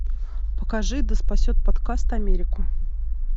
покажи да спасет подкаст америку